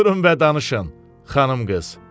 Oturun və danışın, xanım qız.